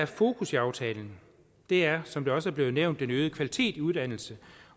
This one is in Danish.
fokus i aftalen er som det også er blevet nævnt en øget kvalitet i uddannelserne